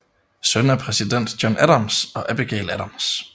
Søn af præsident John Adams og Abigail Adams